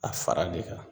A fara de kan